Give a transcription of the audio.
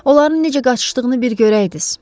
Onların necə qaçışdığını bir görəydiz.